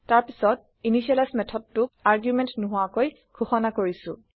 তাৰ পাছত initializeইনিচিয়েলাইজ মেথডেটোক আৰগুমেণ্ট নোহোৱাকৈ ঘোষণা কৰিছো